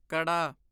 ਕੜਾ